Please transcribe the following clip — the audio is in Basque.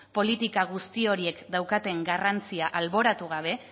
politika guzti horiek daukaten garrantzia alboratu gabe